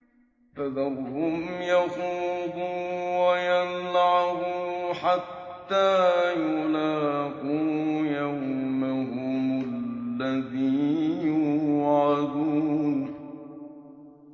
فَذَرْهُمْ يَخُوضُوا وَيَلْعَبُوا حَتَّىٰ يُلَاقُوا يَوْمَهُمُ الَّذِي يُوعَدُونَ